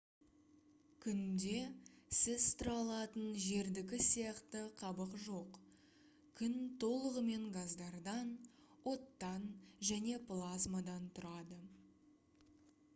күнде сіз тұра алатын жердікі сияқты қабық жоқ күн толығымен газдардан оттан және плазмадан тұрады